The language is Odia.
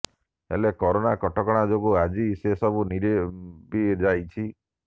ହେଲେ କରୋନା କଟକଣା ଯୋଗୁଁ ଆଜି ସେ ସବୁ ନିରବି ଯାଇଛି